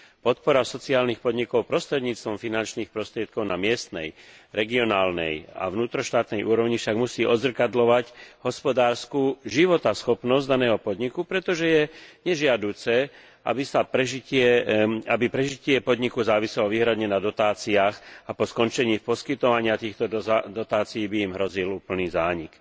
Podpora sociálnych podnikov prostredníctvom finančných prostriedkov na miestnej, regionálnej a vnútroštátnej úrovni však musí odzrkadľovať hospodársku životaschopnosť daného podniku, pretože je nežiaduce, aby prežitie podniku záviselo výhradne na dotáciách a po skončení poskytovania týchto dotácií by im hrozil úplný zánik.